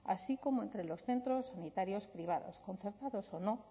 así como entre los centros sanitarios privados concertados o no